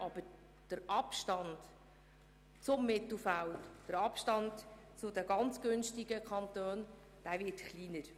Aber der Abstand zum Mittelfeld und den ganz günstigen Kantonen wird kleiner.